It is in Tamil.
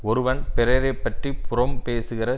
ஒருவன் பிறரைப்பற்றிப் புறம் பேசுகிற